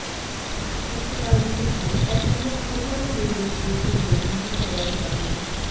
ਹਸਪਤਾਲ ਦੀ ਸਫਾਈ ਐੱਸਐੱਮਓ ਕੌਹਰੀਆਂ ਨੂੰ ਨਿਰਦੇਸ਼ ਦੇ ਕੇ ਜਲਦੀ ਹੀ ਕਰਵਾਈ ਜਾਵੇਗੀ